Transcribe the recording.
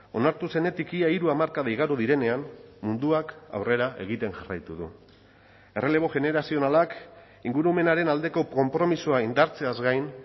onartu zenetik ia hiru hamarkada igaro direnean munduak aurrera egiten jarraitu du errelebo generazionalak ingurumenaren aldeko konpromisoa indartzeaz gain